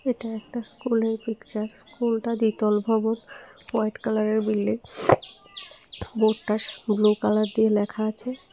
এটা একটা স্কুলের পিকচার স্কুলটা দ্বিতল ভবন ওয়াইট কালারের বিল্ডিং বোর্ডটা ব্লু দিয়ে লেখা আছে।